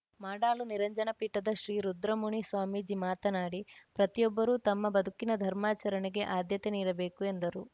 ಮಾಡಾಳು ನಿರಂಜನ ಪೀಠದ ಶ್ರೀ ರುದ್ರಮುನಿ ಸ್ವಾಮೀಜಿ ಮಾತನಾಡಿ ಪ್ರತಿಯೊಬ್ಬರೂ ತಮ್ಮ ಬದುಕಿನ ಧರ್ಮಾಚರಣೆಗೆ ಆದ್ಯತೆ ನೀಡಬೇಕು ಎಂದರು